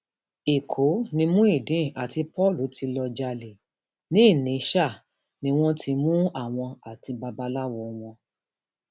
ẹkọ ni muideen àti paul ti lọọ jalè ni ìnísá wọn ti mú àwọn àti babaláwo wọn